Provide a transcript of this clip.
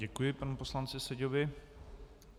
Děkuji panu poslanci Seďovi.